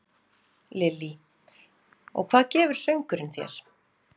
Lillý: Og hvað gefur söngurinn þér?